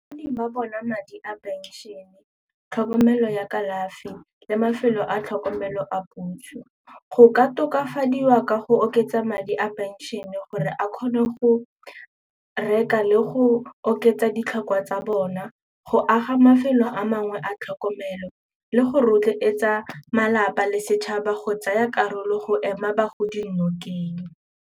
Bagodi ba bona madi a pension-e, tlhokomelo ya kalafi le mafelo a tlhokomelo a puso. Go ka tokafadiwa ka go oketsa madi a pension-e gore a kgone go reka le go oketsa ditlhokwa tsa bona go aga mafelo a mangwe a tlhokomelo le go rotloetsa malapa le setšhaba go tsaya karolo go ema bagodi nokeng.